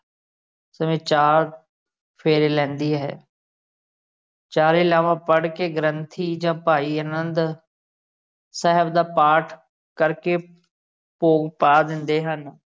ਇਸ ਵਿਚ ਚਾਰ ਫੇਰੇ ਲੈਂਦੀ ਹੈ ਚਾਰੇ ਲਾਵਾਂ ਪੜ੍ਹ ਕੇ ਗ੍ਰੰਥੀ ਜਾ ਭਾਈ ਅਨੰਦ ਸਾਹਿਬ ਦਾ ਪਾਠ ਕਰਕੇ ਭੋਗ ਪਾ ਦਿੰਦੇ ਹਨ।